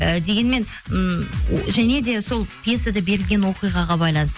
і дегенмен ммм және де сол пьесада берілген оқиғаға байланысты